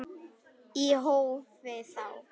Í hófi þó.